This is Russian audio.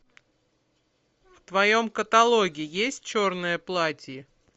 в твоем каталоге есть черное платье